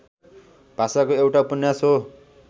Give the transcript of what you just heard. भाषाको एउटा उपन्यास हो